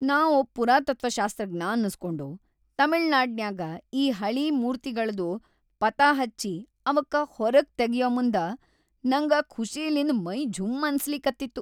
ನಾ ಒಬ್ ಪುರಾತತ್ವಶಾಸ್ತ್ರಜ್ಞ ಅನಸ್ಕೊಂಡು, ತಮಿಳ್ನಾಡಿನ್ಯಾಗ ಈ ಹಳೀ ಮೂರ್ತಿಗಳ್ದು ಪತಾಹಚ್ಚಿ ಅವಕ್ಕ ಹೊರಗ್‌ ತಗಿಯಮುಂದ ನಂಗ ಖುಷಿಲಿಂದ್ ಮೈ ಜುಂ ಅನ್ಸಲಿಕತ್ತಿತ್ತು.